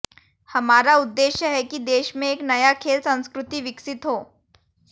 हमारा उद्देश्य है कि देश में एक नया खेल संस्कृति विकसित हो